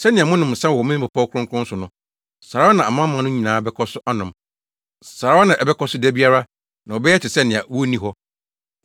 Sɛnea mononom nsã wɔ me bepɔw kronkron so no, saa ara na amanaman no nyinaa bɛkɔ so anom, saa ara na ɛbɛkɔ so da biara na wɔbɛyɛ te sɛ nea wonni hɔ.